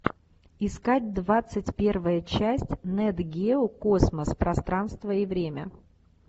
искать двадцать первая часть нат гео космос пространство и время